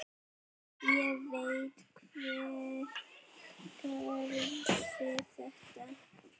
Ég veit hver gerði þetta.